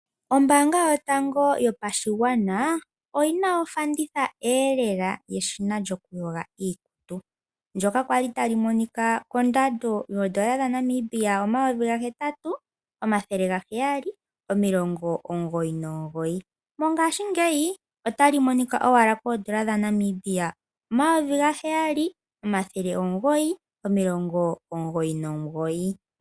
Ombanga yotango yopashigwana oyina ofanditha elela yeshina lyokuyoga iikutu. Ndjoka kwali tali monika kondando yoodollar dhaNamibia omayovi gahetatu omathele gaheyali omilongo omugoyi nomugoyi. Mongashingeyi otali monika owala koodollar dhaNamibia omayovi gaheyali omathele omugoyi nomilongo omugoyi nomugoyi.